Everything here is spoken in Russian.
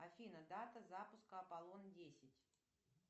афина дата запуска аполлон десять